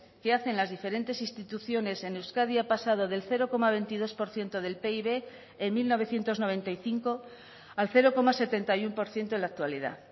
que hacen las diferentes instituciones en euskadi ha pasado del cero coma veintidós por ciento del pib en mil novecientos noventa y cinco al cero coma setenta y uno por ciento en la actualidad